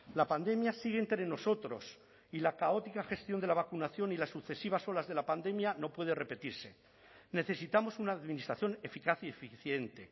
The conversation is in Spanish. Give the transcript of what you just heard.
la pandemia sigue entre nosotros y la caótica gestión de la vacunación y las sucesivas olas de la pandemia no puede repetirse necesitamos una administración eficaz y eficiente